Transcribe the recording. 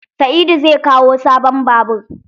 Sa'idu zai kawo sabon babur.